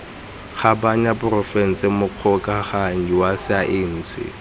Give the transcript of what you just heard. kgabanya porofense mogokaganyi wa saense